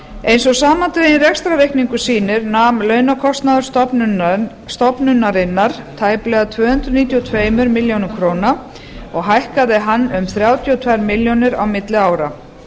eins og samandreginn rekstrarreikningur sýni nam launakostnaður stofnunarinnar tæplega tvö hundruð níutíu og tvær milljónir króna og hækkaði hann um þrjátíu og tvær milljónir á milli ára